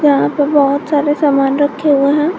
यहां पर बहुत सारे सामान रखे हुए हैं।